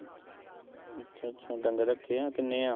ਅੱਛਾ-ਅੱਛਾ ਡੰਗਰ ਰੱਖੇ ਆ ਕਿੰਨੇ ਆ।